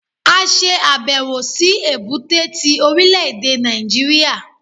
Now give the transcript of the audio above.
A se àbẹ̀wò sí èbúté ti Orílẹ̀dè Nàìjíríà